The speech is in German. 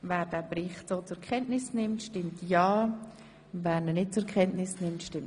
Wer diesen Bericht so zur Kenntnis nimmt, stimmt ja, wer ihn nicht zur Kenntnis nimmt, stimmt nein.